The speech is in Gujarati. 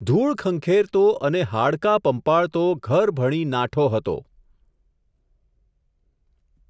ધૂળ ખંખેરતો અને હાડકાં પંપાળતો ઘર ભણી નાઠો હતો.